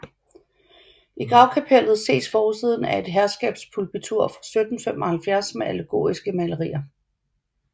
I gravkapellet ses forsiden af et herskabspulpitur fra 1775 med allegoriske malerier